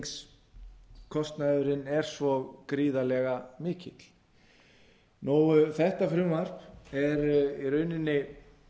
sem flutningskostnaðurinn er svo gríðarlega mikill þetta frumvarp er í rauninni